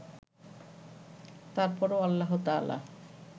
তারপরও আল্লাহতায়ালা